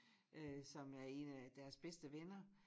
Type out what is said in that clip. Øh som er en af deres bedste venner